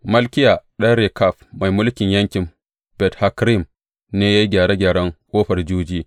Malkiya ɗan Rekab mai mulkin yankin Bet Hakkerem ne ya yi gyare gyaren Ƙofar Juji.